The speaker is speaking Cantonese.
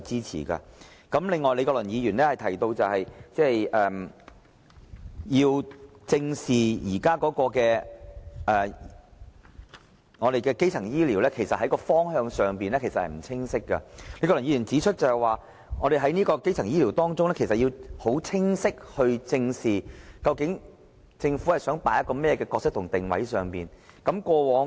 此外，李國麟議員提到要正視現時基層醫療服務方向不清晰的問題，李國麟議員指出，在討論基層醫療服務時，我們要很清晰地知道，究竟政府想扮演甚麼角色和定位如何。